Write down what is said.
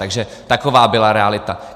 Takže taková byla realita.